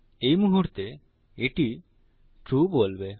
এই মুহুর্তে এটি ট্রু বলবে